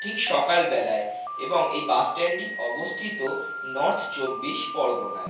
ঠিক সকালবেলায় এবং এই বাস স্ট্যান্ড -টি অবস্থিত নর্থ চব্বিশ পরগনায়।